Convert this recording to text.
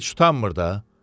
heç utanmır da.